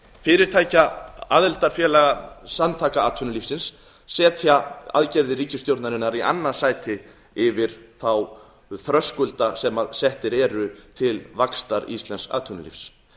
fyrirtækja aðildarfélaga samtaka atvinnulífsins setja aðgerðir ríkisstjórnarinnar í annað sæti yfir þá þröskulda sem settir eru til vaxtar íslensks atvinnulífs